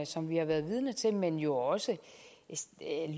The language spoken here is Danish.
som vi har været vidne til men jo også